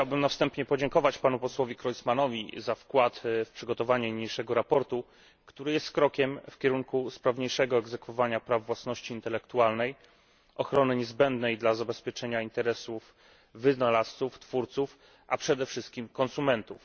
Chciałbym na wstępie podziękować panu posłowi Creutzmannowi za wkład w przygotowanie niniejszego sprawozdania, które jest krokiem w kierunku sprawniejszego egzekwowania praw własności intelektualnej, ochrony niezbędnej dla zabezpieczenia interesów wynalazców, twórców, a przede wszystkim konsumentów.